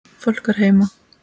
Fólk var heima.